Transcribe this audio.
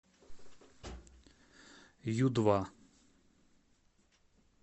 ю два